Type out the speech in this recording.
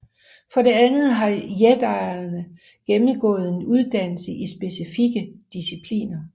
For det andet har jedierne gennemgået en uddannelse i specifikke discipliner